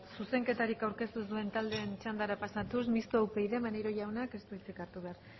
zuzenketarik aurkeztu ez duen taldeen txandara pasatuz mistoa upyd maneiro jaunak ez du hitzik hartu behar